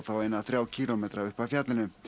eina þrjá kílómetra upp af fjallinu